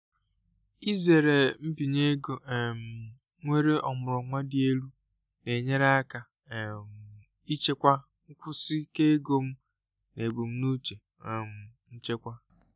izere mbinye ego um nwere ọmụrụ nwa dị elu na-enyere aka um ichekwa nkwụsi ike ego m na ebumnuche um nchekwa.